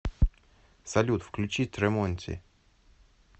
салют включи тремонти